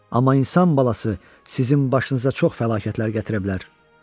Amma insan balası sizin başınıza çox fəlakətlər gətirə bilər.